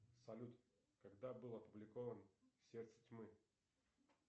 салют когда был опубликован сердце тьмы